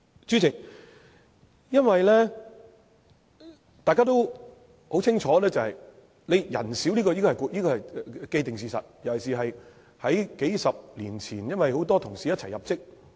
主席，因為大家都很清楚，廉署人選少，這是既定事實，尤其是在數十年前，因為很多同事一起入職。